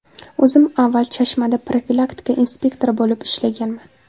O‘zim avval Chashmada profilaktika inspektori bo‘lib ishlaganman.